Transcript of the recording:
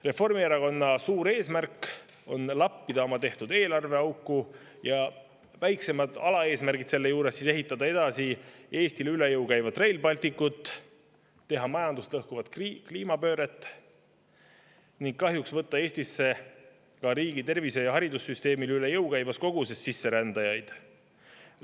Reformierakonna suur eesmärk on lappida oma tehtud eelarveauku ja väiksemad, alaeesmärgid selle juures on ehitada edasi Eestile üle jõu käivat Rail Balticut, teha majandust lõhkuvat kliimapööret ning kahjuks võtta Eestisse ka riigi tervise‑ ja haridussüsteemile üle jõu käivas koguses sisserändajaid.